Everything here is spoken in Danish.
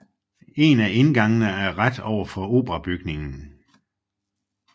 En af indgangene er ret ovenfor operabygningen